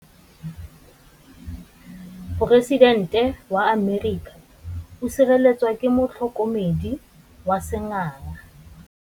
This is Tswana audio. Poresitêntê wa Amerika o sireletswa ke motlhokomedi wa sengaga.